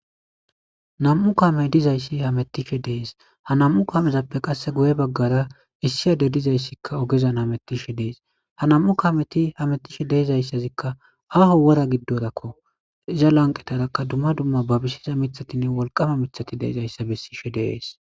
Nam'u kaamey dizayssi hametishe de'es ha nam'u kaamezappe qasse guye bagara issi addey dizayssikka ogezan hametishe de'es ha nam'u kaameti hametishe de'izaysazikka ha wora giddorakko iza lanqetarakka dumma dumma babisiza miththati wolqama miththati de'izayssa bessishe de'es.